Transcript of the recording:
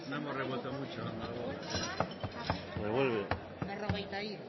hemos revuelto mucho revuelve berrogetairu tamairu